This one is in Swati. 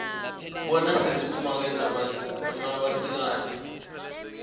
bona sitsi bomake noma basikati